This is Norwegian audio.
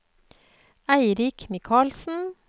Eirik Michaelsen